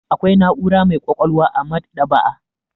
Akwai na'ura mai ƙwaƙwalwa a maɗ'aba'a.